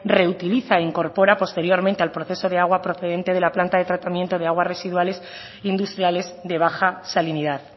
reutiliza e incorpora posteriormente al proceso de agua procedente de la planta de tratamiento de aguas residuales industriales de baja salinidad